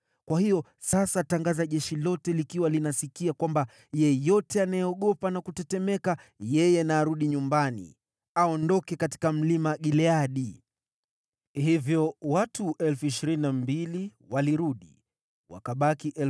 kwa hiyo sasa tangaza jeshi lote likiwa linasikia, kwamba: Yeyote anayeogopa na kutetemeka, yeye na arudi nyumbani, aondoke katika Mlima Gileadi.’ ” Hivyo watu 22,000 walirudi, wakabaki 10,000.